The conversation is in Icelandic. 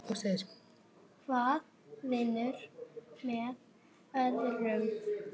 Hvað vinnur með öðru.